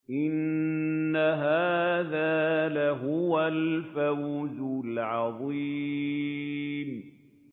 إِنَّ هَٰذَا لَهُوَ الْفَوْزُ الْعَظِيمُ